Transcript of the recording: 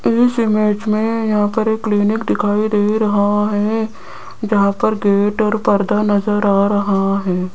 इस इमेज में यहां पर एक क्लीनिक दिखाई दे रहा है। जहां पर गेट और पर्दा नजर आ रहा है।